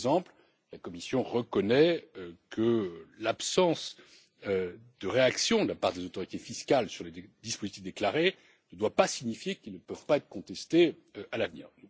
Par exemple, la Commission reconnaît que l'absence de réaction de la part des autorités fiscales sur les dispositifs déclarés ne doit pas signifier qu'ils ne peuvent pas être contestés à l'avenir.